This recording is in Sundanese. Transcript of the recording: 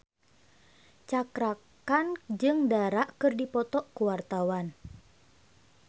Cakra Khan jeung Dara keur dipoto ku wartawan